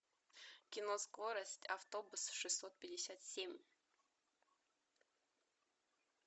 кино скорость автобус шестьсот пятьдесят семь